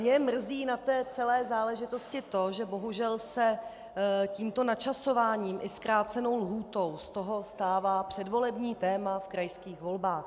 Mě mrzí na té celé záležitosti to, že bohužel se tímto načasováním i zkrácenou lhůtou z toho stává předvolební téma v krajských volbách.